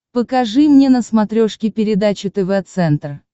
покажи мне на смотрешке передачу тв центр